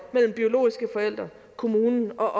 mellem biologiske forældre kommunen og